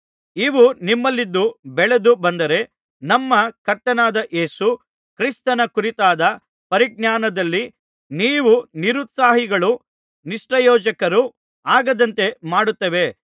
ಇವು ನಿಮ್ಮಲ್ಲಿದ್ದು ಬೆಳೆದು ಬಂದರೆ ನಮ್ಮ ಕರ್ತನಾದ ಯೇಸು ಕ್ರಿಸ್ತನ ಕುರಿತಾದ ಪರಿಜ್ಞಾನದಲ್ಲಿ ನೀವು ನಿರುತ್ಸಾಹಿಗಳೂ ನಿಷ್ಪ್ರಯೋಜಕರೂ ಆಗದಂತೆ ಮಾಡುತ್ತವೆ